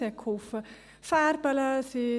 Sie half mir beim Malen.